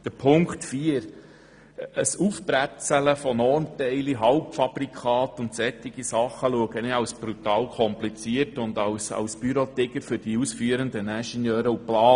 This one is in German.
Zu Auflage 4: Ein «Aufbretzeln» von Normteilen, Halbfabrikaten und solchen Dingen erachte ich als brutal kompliziert und als Bürotiger für die ausführenden Ingenieure und Planer.